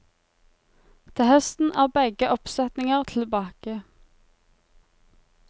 Til høsten er begge oppsetninger tilbake.